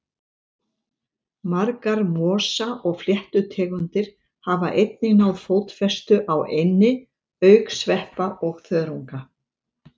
Margar mosa- og fléttutegundir hafa einnig náð fótfestu á eynni, auk sveppa og þörunga.